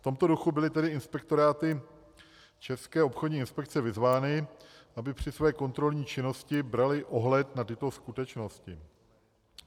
V tomto duchu byly tedy inspektoráty České obchodní inspekce vyzvány, aby při své kontrolní činnosti braly ohled na tyto skutečnosti.